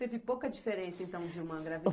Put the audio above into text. Teve pouca diferença, então, de uma